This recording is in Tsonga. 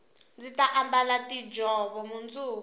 ndzi ta ambala tiinjhovo mundzuku